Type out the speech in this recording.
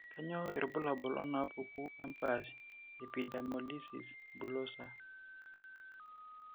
Kainyio irbulabul onaapuku empaash e epidermolysis bullosa?